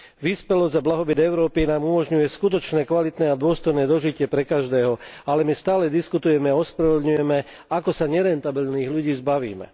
Vyspelosť a blahobyt Európy nám umožňuje skutočné kvalitné a dôstojné dožitie pre každého, ale my stále diskutujeme a ospravedlňujeme, ako sa nerentabilných ľudí zbavíme.